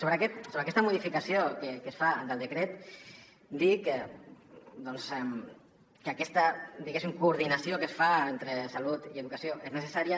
sobre aquesta modificació que es fa del decret dir doncs que aquesta diguéssim coordinació que es fa entre salut i educació és necessària